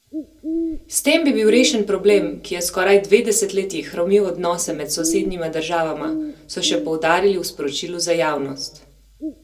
S tem bi bil rešen problem, ki je skoraj dve desetletji hromil odnose med sosednjima državama, so še poudarili v sporočilu za javnost.